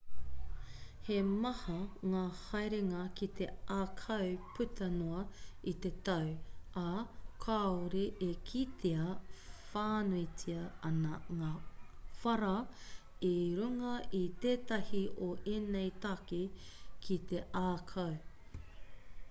he maha ngā haerenga ki te ākau puta noa i te tau ā kāore e kitea whānuitia ana ngā whara i runga i tētahi o ēnei take ki te ākau